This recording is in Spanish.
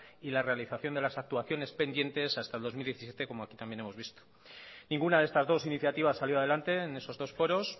y la realización de las actuaciones pendientes hasta el dos mil diecisiete como aquí también hemos visto ninguna de estas dos iniciativas salió adelante en esos dos foros